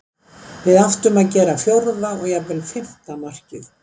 Við áttum að gera fjórða og jafnvel fimmta markið.